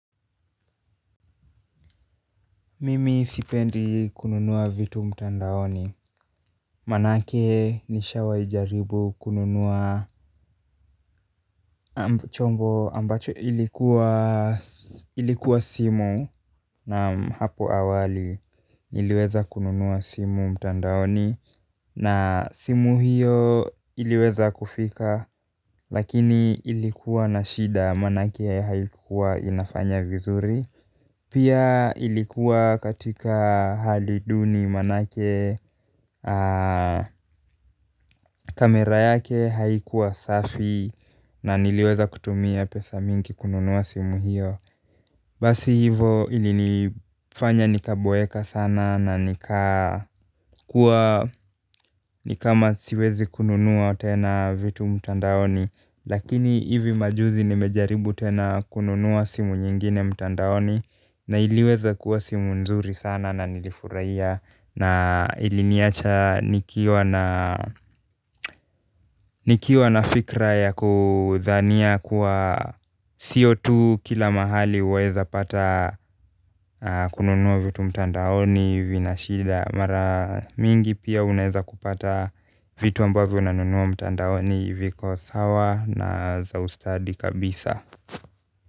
Mimi sipendi kununua vitu mtandaoni, manake nishawai jaribu kununua chombo ambacho ilikuwa simu na hapo awali niliweza kununua simu mtandaoni na simu hiyo iliweza kufika lakini ilikuwa na shida manake haikuwa inafanya vizuri pia ilikuwa katika hali duni manake kamera yake haikuwa safi na niliweza kutumia pesa mingi kununua simu hiyo basi hivo ilifanya nikaboeka sana na nika ni kama siwezi kununua tena vitu mtandaoni lakini hivi majuzi nimejaribu tena kununua simu nyingine mtandaoni na iliweza kuwa simu nzuri sana na nilifurahia na iliniacha nikiwa na fikra ya kudhania kuwa si tu kila mahali waeza pata kununua vitu mtandaoni vina shida. Mara mingi pia unaeza kupata vitu ambavyo unanua mtandaoni viko sawa na za ustadi kabisa.